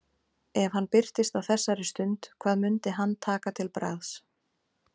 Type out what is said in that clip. Ef hann birtist á þessari stund, hvað mundi hann taka til bragðs?